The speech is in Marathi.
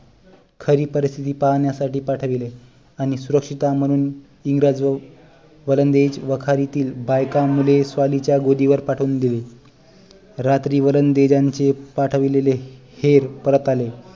खरी परिस्थिती पाहाण्यासाठी पाठविले आणि सुरक्षितता म्हणून इंग्रज व वलंदेज वाखारीतील बायका मुले स्वालीच्या गोदी वर पाठवून दिली रात्री वलंदेजांनी पाठविलेले हेर परत आले